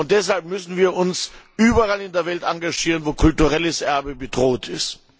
Deshalb müssen wir uns überall in der Welt engagieren, wo kulturelles Erbe bedroht ist.